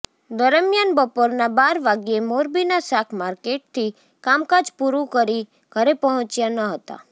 દરમ્યાન બપોરના બાર વાગ્યે મોરબીના શાક માર્કેટથી કામકાજ પૂરું કરી ઘરે પહોંચ્યા ન હતા